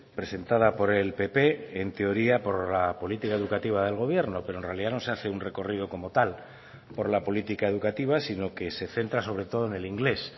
presentada por el pp en teoría por la política educativa del gobierno pero en realidad no se hace un recorrido como tal por la política educativa sino que se centra sobre todo en el inglés